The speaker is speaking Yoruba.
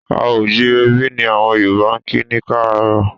A à jírebí! ni àwọn Yorùbá kí ni láárò.